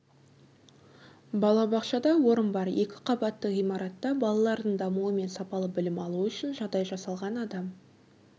балабақшада орын бар екі қабатты ғимаратта балалардың дамуы мен сапалы білім алуы үшін жағдай жасалған адам